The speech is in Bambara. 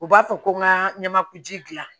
U b'a fɔ ko ŋa ɲamakuji dilan